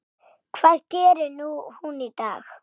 Hvað gerir hún í dag?